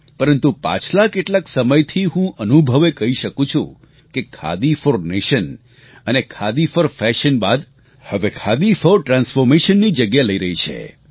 પરંતુ પાછલા કેટલાક સમયથી હું અનુભવે કહી શકું છું કે ખાદી ફોર નેશન અને ખાદી ફોર ફેશન બાદ હવે ખાદી ફોર ટ્રાન્ફોર્મેશનની જગ્યા લઈ રહ્યું છે